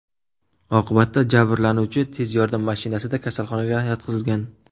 Oqibatda jabrlanuvchi tez yordam mashinasida kasalxonaga yotqizilgan.